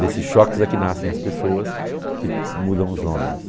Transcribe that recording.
Desses choques é que nascem as pessoas, que mudam os homens.